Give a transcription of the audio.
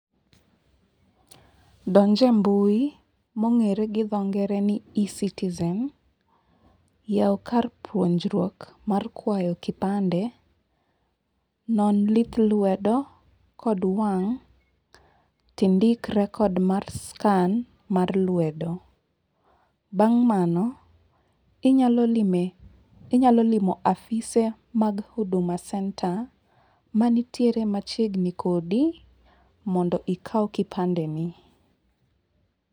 donj e mbui mong'ere gi dho ngere ni eCitizen, yaw kar puonjruok mar kwayo kipande, non lith lwedo kod wang', tindik record mar scan mar lwedo. Bang' mano, inyalo lime, inyalo limo afise mag Huduma Centre manitiere machiegni kodi, mondo ikaw kipande ni